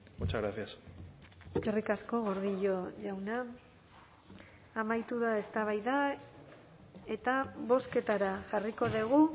muchas gracias eskerrik asko gordillo jauna amaitu da eztabaida eta bozketara jarriko dugu